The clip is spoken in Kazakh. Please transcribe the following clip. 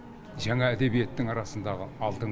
жаңа әдебиеттің арасындағы алтын